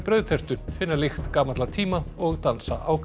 brauðtertu finna lykt gamalla tíma og dansa á